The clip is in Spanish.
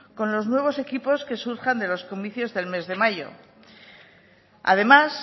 con los nuevos equipos que surjan de los comicios el mes de mayo además